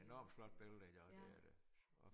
Enormt flot billeder ja det er det